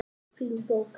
Fín bók.